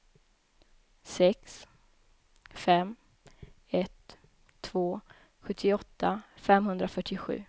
sex fem ett två sjuttioåtta femhundrafyrtiosju